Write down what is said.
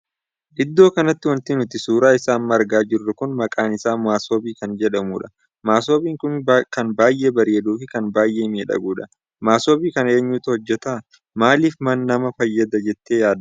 Iddoo kanatti wanti nuti suuraa isaa amma argaa jirru kun maqaan isaa masobii kan jedhamudha. masoobiin kun kan baay'ee bareeduu fi kan baay'ee miidhagudha. masoobii kana eenyutu hojjeta? Maaliif nama fayyada jettee yaadda?